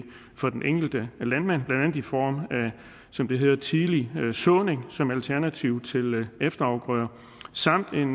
for den enkelte landmand blandt andet i form af som det hedder tidlig såning som alternativ til efterafgrøder samt